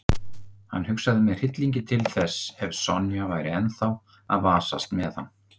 Hann hugsaði með hryllingi til þess ef Sonja væri ennþá að vasast með hann.